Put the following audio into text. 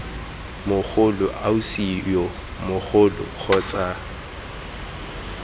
mogolo ausi yo mogolo kgotsa